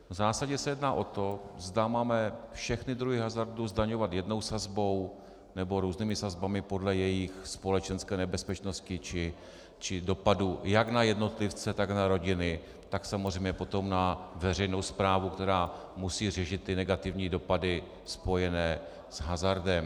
V zásadě se jedná o to, zda máme všechny druhy hazardu zdaňovat jednou sazbou, nebo různými sazbami podle jejich společenské nebezpečnosti či dopadu jak na jednotlivce, tak na rodiny, tak samozřejmě potom na veřejnou správu, která musí řešit negativní dopady spojené s hazardem.